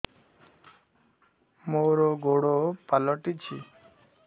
ମୋର ଗୋଡ଼ ପାଲଟିଛି